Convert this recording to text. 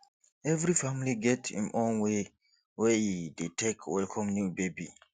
every family get im own way wey e dey take welcome new baby